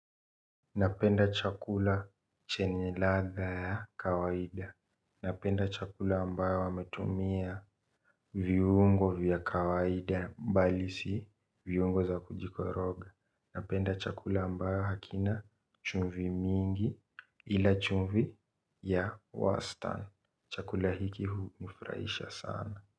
Napenda chakula chenye ladha ya kawaida. Napenda chakula ambayo wametumia viungo vya kawaida mbali si viungo za kujiko roge. Napenda chakula ambayo hakina chumvi mingi ila chumvi ya wastan. Chakula hiki hu nifrahisha sana.